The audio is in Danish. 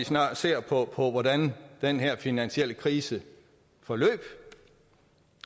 ser på hvordan den finansielle krise forløb